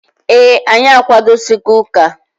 Ee, anyị akwadosigo ụka.